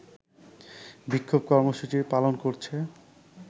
বিক্ষোভ কর্মসূচি পালন করছে